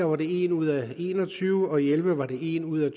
var det en ud af en og tyve og elleve var det en ud af